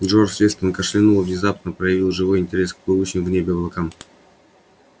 джордж вестон кашлянул и внезапно проявил живой интерес к плывущим в небе облакам